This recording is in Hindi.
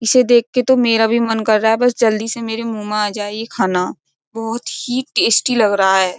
इसे देख के तो मेरा भी मन कर रहा है बस जल्दी से मेरे मुंह में आ जाए ये खाना बहुत ही टेस्टी लग रहा है।